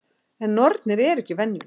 En nornir eru ekki venjulegar.